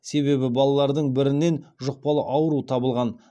себебі балалардың біріннен жұқпалы ауру табылған